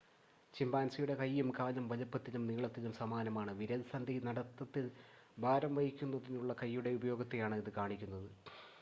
ചിമ്പാൻസിയുടെ കൈയും കാലും വലുപ്പത്തിലും നീളത്തിലും സമാനമാണ് വിരൽസന്ധി നടത്തത്തിൽ ഭാരം വഹിക്കുന്നതിനുള്ള കൈയുടെ ഉപയോഗത്തെയാണ് ഇത് കാണിക്കുന്നത്